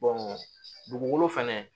dugukolo fɛnɛ